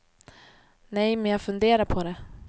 Nej men jag funderar på det.